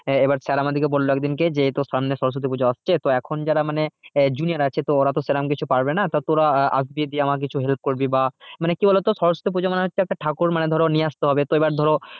আহ এবার sir আমাদেরকে বললো এক দিনকে যে এইতো সামনে সরস্বতী পুজো আসছে তো এখন যারা মানে junior আছে তো ওরা তো সেরকম কিছু পারবে না তো তোরা আহ আসবি দিয়ে আমাকে কিছু help করবি বা মানে কি বলতো সরস্বতী পুজো মানে হচ্ছে একটা ঠাকুর ধরো নিয়ে আসতে হবে তো এবার ধরো